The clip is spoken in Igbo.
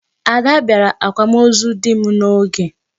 Ada bịara akwamozu dị m n'oge.